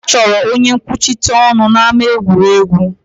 A chọrọ onye nkwuchite ọnụ n'ámá egwuregwu